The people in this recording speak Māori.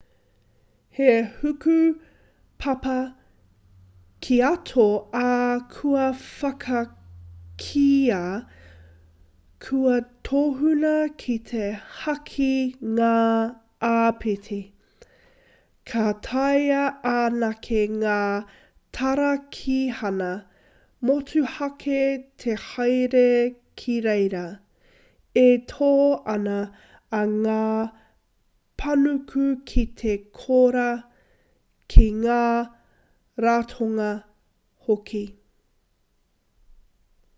he hukapapa kīato ā kua whakakīia kua tohua ki te haki ngā āpiti ka taea anake ngā tarakihana motuhake te haere ki reira e tō ana i ngā panuku ki te kora ki ngā ratonga hoki